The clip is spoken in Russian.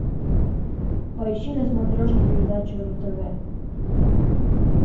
поищи на смотрешке передачу ру тв